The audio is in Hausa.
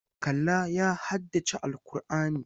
Kallah ya haddace Al'kur'ani.